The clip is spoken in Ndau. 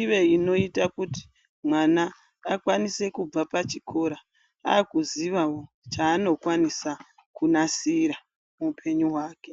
Ive inoita kuti vana vakwanise kubva pazvikora kuzivawo chanokwanisa kunasira muhupenyu hwake.